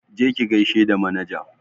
Je ki gaishe da manaja!